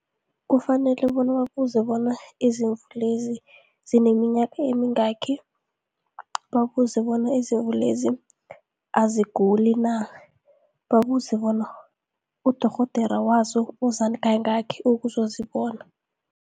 Kufanele bona babuze bona izimvu lezi zineminyaka emingaki, babuze bona izimvu lezi aziguli na, babuze bona udorhodera wazo uza kayingaki ukuzozibona.